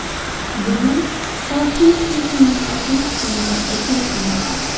Bugun Tashkent City’ning ochilish kunida o‘tiribmiz.